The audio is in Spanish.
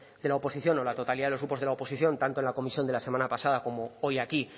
de la oposición o la totalidad de los grupos de la oposición tanto en la comisión de la semana pasada como hoy aquí